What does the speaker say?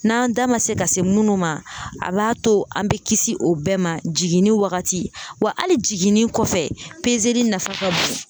N'an da ma se ka se munnu ma a b'a to an bɛ kisi o bɛɛ ma jiginni wagati wa ali jiginni kɔfɛ li nafa ka bon?